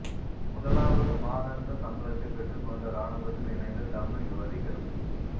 முதலாவது மாதாந்த சம்பளத்தைப் பெற்றுக் கொண்ட இராணுவத்தில் இணைந்த தமிழ் யுவதிகள்